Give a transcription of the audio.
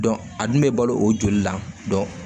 a dun bɛ balo o joli la